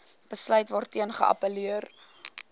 besluit waarteen geappelleer